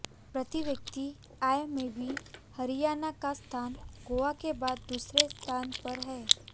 प्रति व्यक्ति आय में भी हरियाणा का स्थान गोवा के बाद दूसरे स्थान पर है